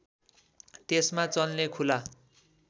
त्यसमा चल्ने खुला